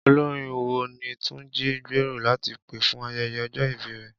Olorin wo ni Túnjí ń gbèrò láti pè fún ayẹyẹ ọjọ́ ìbí rẹ̀?